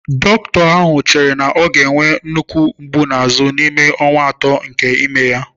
Dọkịta ahụ chere na ọ ga-enwe nnukwu mgbu azụ n'ime ọnwa atọ nke ime ya.